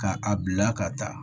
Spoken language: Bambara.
Ka a bila ka taa